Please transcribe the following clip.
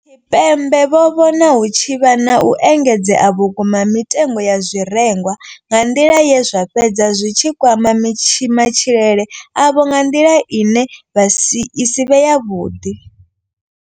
Tshipembe vho vhona hu tshi vha na u engedzea vhukuma ha mitengo ya zwirengwa nga nḓila ye zwa fhedza zwi tshi kwama matshilele avho nga nḓila ine i si vhe yavhuḓi.